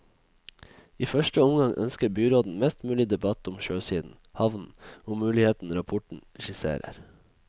I første omgang ønsker byråden mest mulig debatt om sjøsiden, havnen, og mulighetene rapporten skisserer.